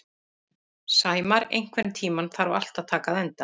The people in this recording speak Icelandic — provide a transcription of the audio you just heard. Sæmar, einhvern tímann þarf allt að taka enda.